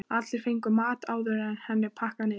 Allir fengu að máta áður en henni var pakkað niður.